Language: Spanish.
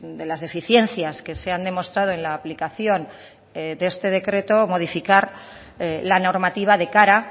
de las deficiencias que se han demostrado en la aplicación de este decreto modificar la normativa de cara